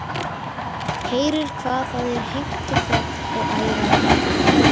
Heyrir hvað það er heimtufrekt og ærandi.